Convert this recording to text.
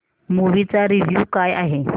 movie चा review काय आहे